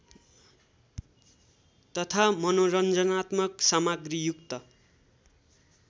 तथा मनोरञ्जनात्मक सामग्रीयुक्त